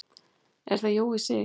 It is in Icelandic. Er það Jói Sig?